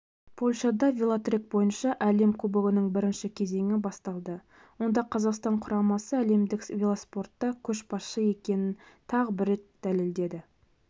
польшада велотрек бойынша әлем кубогының бірінші кезеңі басталды онда қазақстан құрамасы әлемдік велоспортта көшбасшы екенін тағы бір рет дәлелдеді